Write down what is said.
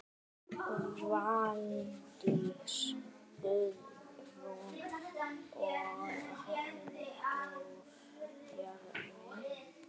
Valdís Guðrún og Halldór Bjarni.